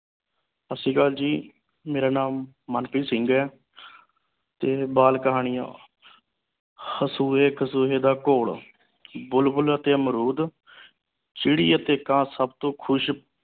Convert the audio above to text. ਸਤਿ ਸ਼੍ਰੀ ਅਕਾਲ ਜੀ ਮੇਰਾ ਨਾਮ ਮਨਪ੍ਰੀਤ ਸਿੰਘ ਏ ਤੇ ਬਾਲ ਕਹਾਣੀਆਂ ਦਾ ਘੋਲ ਬੁਲਬੁਲ ਅਤੇ ਅਮਰੂਦ ਚਿੜੀ ਅਤੇ ਕਾਂ ਸਬ ਤੋਂ ਖੁਸ਼